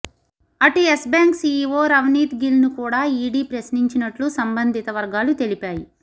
అటు Yes Bank CEO Ravneet గిల్ను కూడా ఈడీ ప్రశ్నించినట్లు సంబంధిత వర్గాలు తెలిపాయి